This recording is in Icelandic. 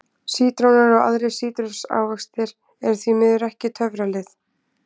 Sítrónur og aðrir sítrusávextir eru því miður ekki töfralyf.